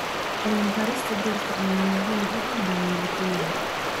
Cilmi-baarista dhirta ayaa muhiim u ah bayolojiyada.